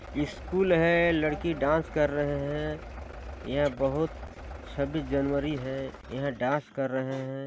school है लडकी dance कर रहे हैं यह बहुत छब्बीस जनवरी है यह डास कर रहे हैं|